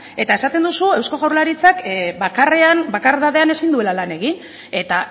eta esaten duzu eusko jaurlaritzak bakardadean ezin duela lan egin eta